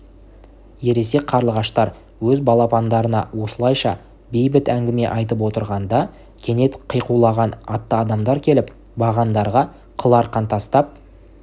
ересек қарлығаштар өз балапандарына осылайша бейбіт әңгіме айтып отырғанда кенет қиқулаған атты адамдар келіп бағандарға қыл арқан тастап